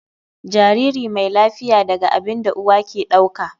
Jariri mai lafiya daga abin da uwa ke dauka.